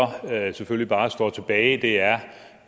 selvfølgelig bare står tilbage er